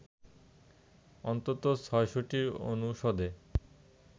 অন্তত ৬০০টি অনুষদে